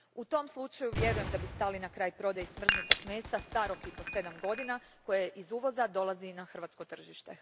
U tom slučaju vjerujem da bi stali na kraj prodaji smrznutog mesa starog i po sedam godina koje iz uvoza dolazi na hrvatsko tržište.